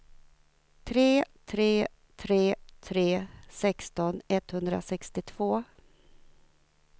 tre tre tre tre sexton etthundrasextiotvå